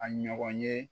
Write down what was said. A ɲɔgɔn ye